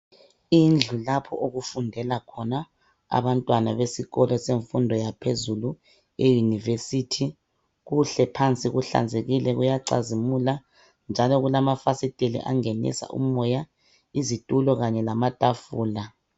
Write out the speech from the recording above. Indlu lapho okufundela khona abantwana besikolo semfundo yaphezulu iyunivesithi, kuhle phansi kuhlanzekile kuyacazimula njalo kulamafasiteli angenisa umoya, izitulo kanye lamatafula.